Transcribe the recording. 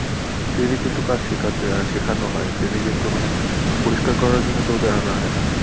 না trainee দের তো কাজ শেখাতে হয়ে সেখানো হয়ে training এ তো মানে পরিষ্কার করার জন্যে তোমাদের আনা হয়ে না